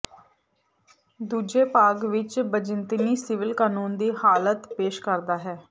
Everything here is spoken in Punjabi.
ਦੂਜੇ ਭਾਗ ਵਿੱਚ ਬਿਜ਼ੰਤੀਨੀ ਸਿਵਲ ਕਾਨੂੰਨ ਦੀ ਹਾਲਤ ਪੇਸ਼ ਕਰਦਾ ਹੈ